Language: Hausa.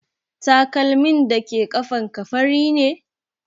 Takalmin dake ƙafan ka fari ne?